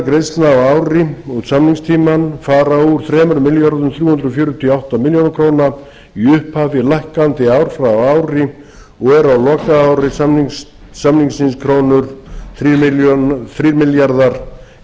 greiðslna á ári út samningstímann fara úr þremur milljörðum þrjú hundruð fjörutíu og átta milljónir króna í upphafi lækkandi ár frá ári og eru á lokaári samningsins krónu þrír milljarðar